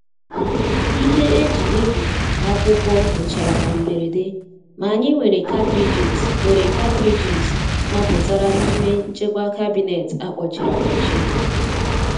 Ihe eji ebi akwụkwọ gwụchara na mberede, ma anyị nwere katridges nwere katridges mapụtara n'ime nchekwa kabinet a kpọchiri akpọchi.